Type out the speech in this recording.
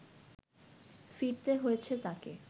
ফিরতে হয়েছে তাকে